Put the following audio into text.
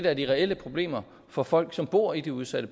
er de reelle problemer for folk som bor i de udsatte